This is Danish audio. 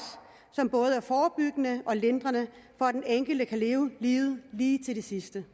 som både er forebyggende og lindrende så den enkelte kan leve livet lige til det sidste